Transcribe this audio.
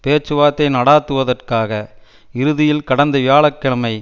பேச்சுவார்த்தை நடாத்துவதற்காக இறுதியில் கடந்த வியாழ கிழமை